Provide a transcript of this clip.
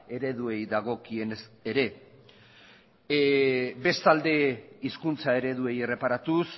ereduei dagokienez ere bestalde hizkuntza ereduei erreparatuz